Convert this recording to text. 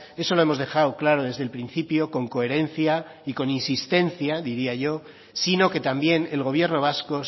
eso lo hemos dejado claro desde el principio con coherencia y con insistencia diría yo sino que también el gobierno vasco